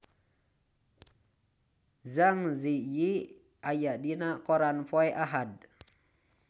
Zang Zi Yi aya dina koran poe Ahad